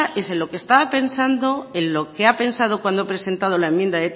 es en lo que estaba pensando en lo que ha pensado cuando ha presentado la enmienda